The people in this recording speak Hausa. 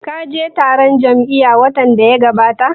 Ka je taron jam'iya watan da ya gabata?